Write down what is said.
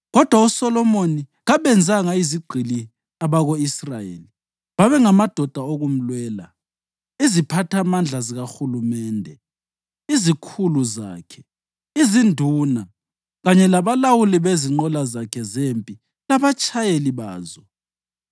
Kodwa uSolomoni kabenzanga izigqili abako-Israyeli; babengamadoda okumlwela, iziphathamandla zikahulumende, izikhulu zakhe, izinduna, kanye labalawuli bezinqola zakhe zempi labatshayeli bazo.